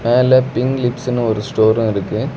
மேல பிங்க் லிப்ஸ்னு ஒரு ஸ்டோரு இருக்கு.